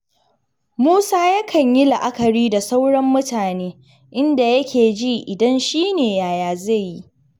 Musa yakan yi la'akari da sauran mutane, inda yake ji idan shi ne yaya zai yi?